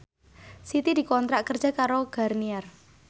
Siti dikontrak kerja karo Garnier